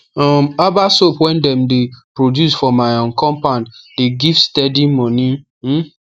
um herbal soap wey dem de produce for my um compound the give steady moni um